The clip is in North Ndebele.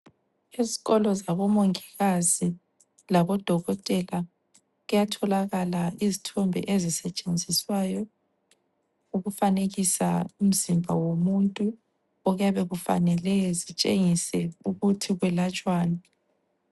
Izikolo zabo mongikazi labo dokotela kuyatholakala izithombe ezisetshenziswayo ukufanekisa umzimba womuntu ,okuyabe kufanele zitshengise ukuthi kuyelatshwani.